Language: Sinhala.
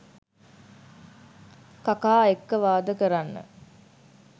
කකා එක්ක වාද කරන්න